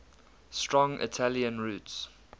strong italian roots